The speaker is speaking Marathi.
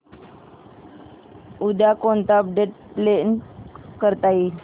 उद्या कोणतं अपडेट प्लॅन करता येईल